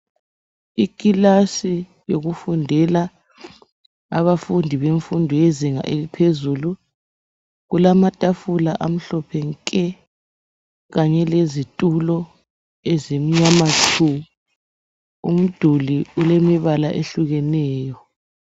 Ikilasi yokufundela abafundi bemfundo yezinga eliphezulu kulamatafula amhlophe nke, kanye lezitulo ezimnyama tshu. Umduli ulemibala ehlukeneyo.